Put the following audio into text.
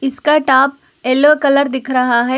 इसका top yellow colour दिख रहा है।